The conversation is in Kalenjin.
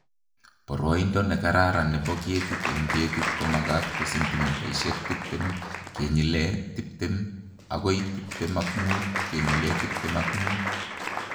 Boroindo ne kararan nebo ketit eng ketit komakat ko sentimitaisiek tiptem kenyile tiptem agoi tiptem ak muut kenyile tiptem ak muut